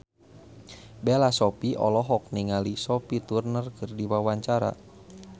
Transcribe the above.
Bella Shofie olohok ningali Sophie Turner keur diwawancara